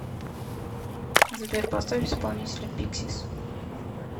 сбер поставь исполнителя пиксис